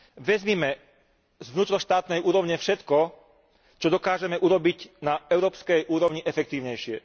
Vezmime z vnútroštátnej úrovne všetko, čo dokážeme urobiť na európskej úrovni efektívnejšie.